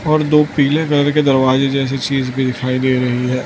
और दो पीले कलर के दरवाजे जैसी चीज भी दिखाई दे रही है।